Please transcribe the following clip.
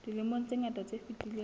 dilemong tse ngata tse fetileng